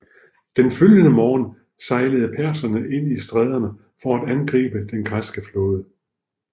Den følgende morgen sejlede perserne ind i stræderne for at angribe den græske flåde